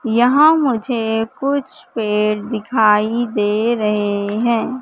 यहां मुझे कुछ पेड़ दिखाई दे रहे हैं।